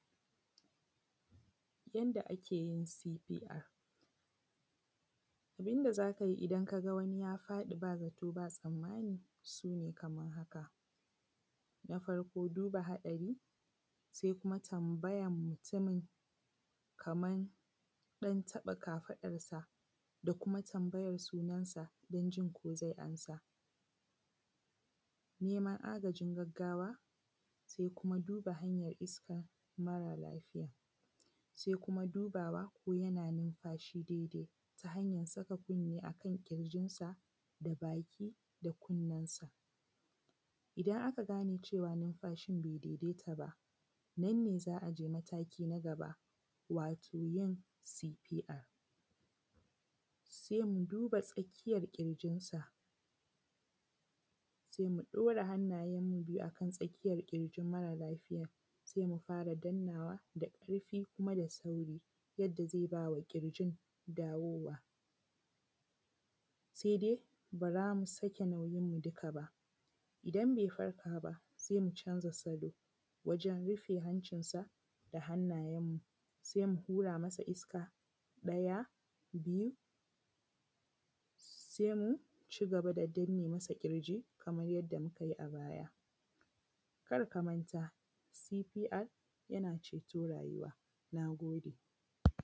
Yanda akejin CPR. Abinda zakai idan kaga wani ya faɗi, ba zato ba tsammani. Sune kamar haka. Na farko duba haɗari, se kuma tambajan mutumin, kaman, ɗan taɓa kafaɗarsa, da kuma tambajar sunan sa dan, jin ko zai amsa. Neman agajin gaggawa. se kuma du:ba hanyar iskar mara lafijan, se kuma dubawa ko yana nimfashi dai dai, ta hanyar saka kunne a kan ƙirjinsa, da baki da kunnen sa. Idan aka gane: cewa numfashi: bai dai dai ta ba, nan ne za’aje mataki na gaba, wato jin ʦPR. se: muduba tsakiyar ƙirjinsa, se mu ɗora hannajen mu biju kan, tsakiyar ƙirjin mara lafiyan, se mu fara dan nawa da ƙarfi kuma da sauri. janda zai bama ƙirjin dawowa, se dai ba zamu sake naujinmu dukaba. Idan bai farkaba sai mu canza salo, wajen rufe hancin sa da hannayen mu. se mu hura masa iska. Ɗaya biju, se mucigaba da danne masa ƙirji, kamar yadda mukaji a baya. Karka manta CPR, yana ceto rajuwa. Nagode.